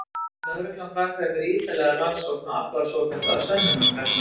Lögreglan framkvæmir ítarlega rannsókn og aflar svokallaðra sönnunargagna.